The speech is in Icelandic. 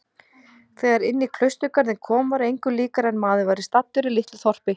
Þegar inní klausturgarðinn kom var engu líkara en maður væri staddur í litlu þorpi.